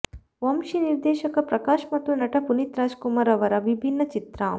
ವಂಶಿ ನಿರ್ದೇಶಕ ಪ್ರಕಾಶ್ ಮತ್ತು ನಟ ಪುನೀತ್ ರಾಜ್ ಕುಮಾರ್ ರವರ ವಿಭಿನ್ನ ಚಿತ್ರ